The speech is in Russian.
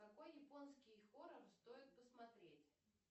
какой японский хоррор стоит посмотреть